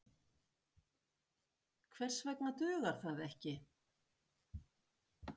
Heimir Már Pétursson: Hvers vegna dugar það ekki?